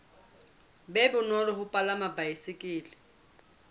be bonolo ho palama baesekele